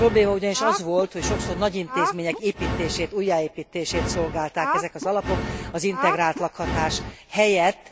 A probléma ugyanis az volt, hogy sokszor nagy intézmények építését, újjáépítését szolgálták ezek az alapok, az integrált lakhatás helyett.